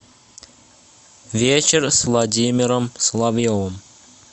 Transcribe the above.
вечер с владимиром соловьевым